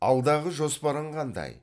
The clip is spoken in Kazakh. алдағы жоспарың қандай